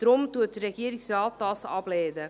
Deshalb lehnt der Regierungsrat dies ab.